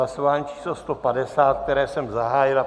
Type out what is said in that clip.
Hlasování číslo 150, které jsem zahájil.